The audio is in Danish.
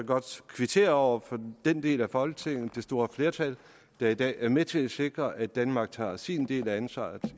godt kvittere over for den del af folketinget det store flertal der i dag er med til at sikre at danmark tager sin del af ansvaret